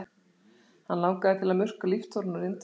Hann langaði til að murka líftóruna úr Indverjanum.